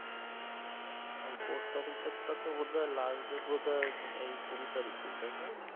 ও post office এরটা তো বোধায় লাস্ট ডেট বোধায় এই কুড়ি তারিখে তাইনা?